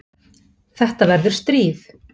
Þetta verður stríð.